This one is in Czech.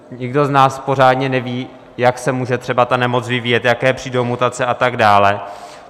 Nikdo z nás pořádně neví, jak se může třeba ta nemoc vyvíjet, jaké přijdou mutace a tak dál.